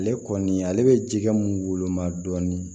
Ale kɔni ale bɛ jɛgɛ mun woloma dɔɔni